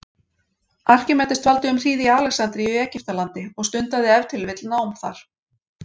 Arkímedes dvaldi um hríð í Alexandríu í Egyptalandi og stundaði ef til vill nám þar.